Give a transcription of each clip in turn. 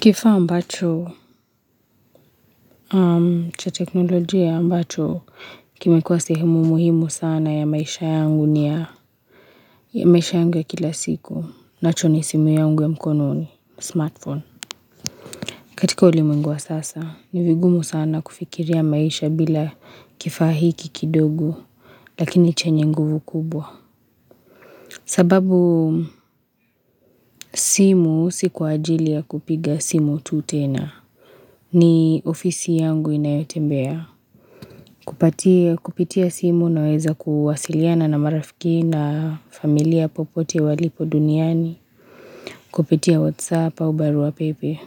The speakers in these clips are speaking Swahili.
Kifaa ambacho, cha teknolojia ambacho, kimekuwa sehemu muhimu sana ya maisha yangu ni ya maisha yangu ya kila siku. Nacho ni simu yangu ya mkononi smartphone. Katika ulimwengu wa sasa, ni vigumu sana kufikiria maisha bila kifaa hiki kidogo, lakini chenye nguvu kubwa. Sababu simu, si kwa ajili ya kupiga simu tu tena. Ni ofisi yangu inayotembea. Kupatia, kupitia simu naweza kuwasiliana na marafiki na familia popote walipo duniani, kupitia whatsapp au barua pepe.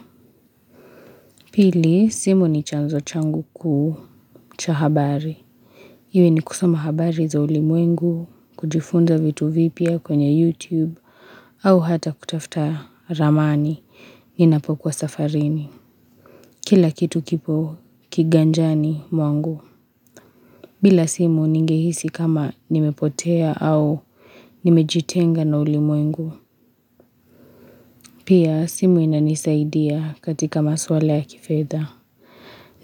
Pili, simu ni chanzo changu kuu cha habari. Iwe ni kusoma habari za ulimwengu, kujifunza vitu vipya kwenye YouTube, au hata kutafuta ramani ninapokuwa safarini. Kila kitu kipo kiganjani mwangu. Bila simu ningehisi kama nimepotea au nimejitenga na ulimwengu. Pia simu inanisaidia katika maswala ya kifedha.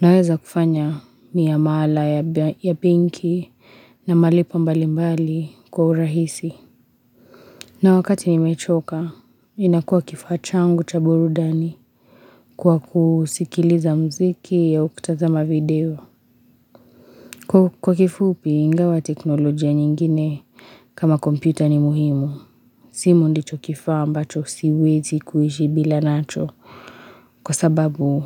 Naweza kufanya ni ya maala ya benki na malipo mbalimbali kwa urahisi. Na wakati nimechoka inakuwa kifaa changu cha burudani kwa kusikiliza muziki au kutazama video. Kwa kifupi ingawa teknolojia nyingine kama kompyuta ni muhimu. Simu ndicho kifaa ambacho siwezi kuishi bila nacho Kwa sababu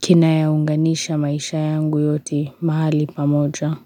Kinayaunganisha maisha yangu yote mahali pamoja.